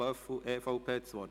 Löffel, EVP, hat das Wort.